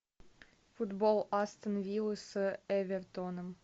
футбол астон виллы с эвертоном